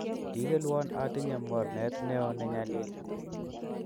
Kigelwon atinye mornet nio ne nyalil